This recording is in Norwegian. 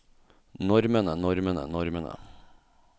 normene normene normene